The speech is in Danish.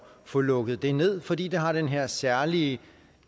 få lukket det ned fordi det har den her særlige